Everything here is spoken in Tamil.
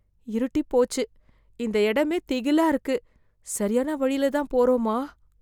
இருட்டிப் போச்சு, இந்த இடமே திகிலா இருக்கு. சரியான வழில தான் போறோமா?